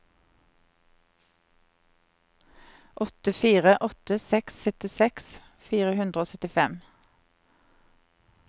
åtte fire åtte seks syttiseks fire hundre og syttifem